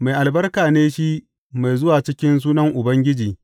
Mai albarka ne shi mai zuwa cikin sunan Ubangiji.